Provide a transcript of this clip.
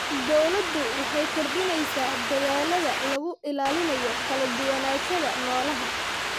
Dawladdu waxay kordhinaysaa dadaallada lagu ilaalinayo kala duwanaanshaha noolaha.